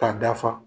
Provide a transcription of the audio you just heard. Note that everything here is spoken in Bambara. K'a dafa